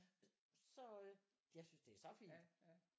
Så øh jeg synes det er så fint